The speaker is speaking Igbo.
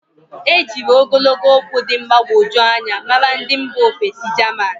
E jírí ogologo okwu dị mgbagwoju anya maara ndị mba ofesi jaman.